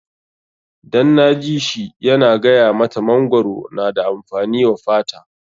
Dan na ji shi yana gaya mata mangwaro na da amfani wa fata.